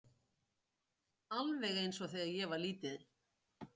alveg eins og þegar ég var lítil.